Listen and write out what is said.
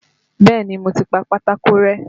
Bẹ́ẹ̀ni, mo ti pa pátákó rẹ́.